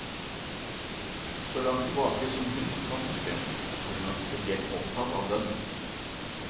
Så langt tilbake som hun kan huske, har hun vært spesielt opptatt av bønn.